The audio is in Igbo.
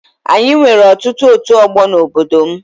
Anyị nwere ọtụtụ ọtu ọgbọ n'obodo m